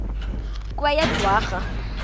kweyedwarha